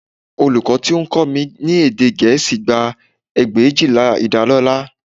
Olùkọ́ tí ó ń kọ́ mi ní èdè Gẹ̀ẹ́sì gba ẹgbẹ̀éjìlá ìdálọ́lá